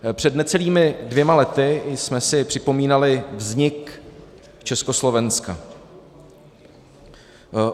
Před necelými dvěma lety jsme si připomínali vznik Československa.